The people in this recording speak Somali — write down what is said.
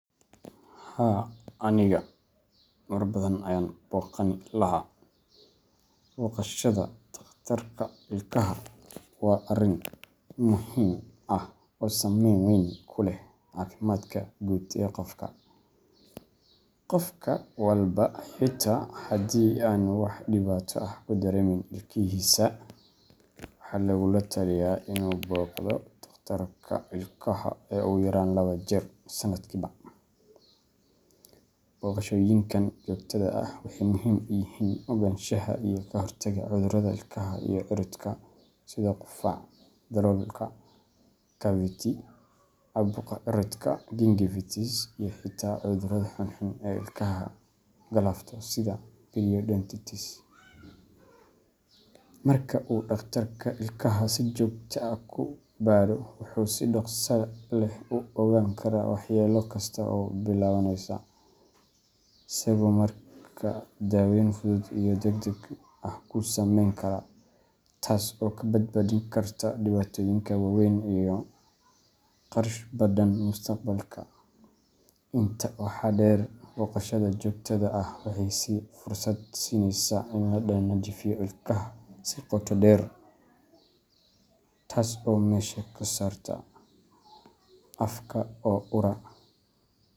Haa aniga mar badan ayan boqani laha. Booqashada dhakhtarka ilkaha waa arrin muhiim ah oo saameyn weyn ku leh caafimaadka guud ee qofka. Qof walba, xitaa haddii aanu wax dhibaato ah ka dareemayn ilkihisa, waxaa lagula talinayaa inuu booqdo dhakhtarka ilkaha ugu yaraan laba jeer sanadkiiba. Booqashooyinkan joogtada ah waxay muhiim u yihiin ogaanshaha iyo ka hortagga cudurrada ilkaha iyo cirridka sida qufac daloolka cavity, caabuqa ciridka gingivitis, iyo xitaa cudurrada xunxun ee ilkaha galaafto sida periodontitis. Marka uu dhakhtarka ilkaha si joogto ah kuu baadho, wuxuu si dhaqso leh u ogaan karaa waxyeello kasta oo soo billaabanaysa, isagoo markaa daawayn fudud iyo degdeg ah kuu samayn kara, taas oo kaa badbaadin karta dhibaatooyin waaweyn iyo kharash badan mustaqbalka. Intaa waxaa dheer, booqashada joogtada ah waxay fursad siinaysaa in la nadiifiyo ilkaha si qoto dheer, taas oo meesha ka saarta afka oo ura.